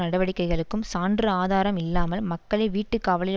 நடவடிக்கைகளுக்கும் சான்று ஆதாரம் இல்லாமல் மக்களை வீட்டு காவலில்